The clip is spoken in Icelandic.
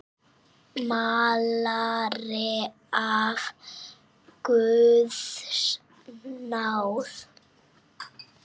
Málari af guðs náð.